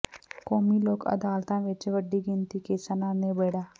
ਕੌਮੀ ਲੋਕ ਅਦਾਲਤਾਂ ਿਵੱਚ ਵੱਡੀ ਗਿਣਤੀ ਕੇਸਾਂ ਦਾ ਨਿਬੇਡ਼ਾ